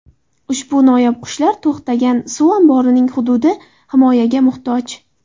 Ushbu noyob qushlar to‘xtagan suv omborining hududi himoyaga muhtoj.